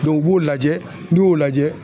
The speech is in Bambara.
u b'o lajɛ n'i y'o lajɛ